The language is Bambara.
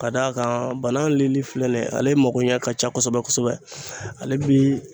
Ka d'a kan banan lili filɛ nin ye ale magoɲɛ ka ca kosɛbɛ kosɛbɛ ale bi